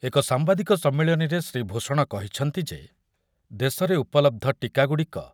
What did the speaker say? ଏକ ସାମ୍ବାଦିକ ସମ୍ମିଳନୀରେ ଶ୍ରୀ ଭୂଷଣ କହିଛନ୍ତି ଯେ, ଦେଶରେ ଉପଲବ୍ଧ ଟୀକାଗୁଡ଼ିକ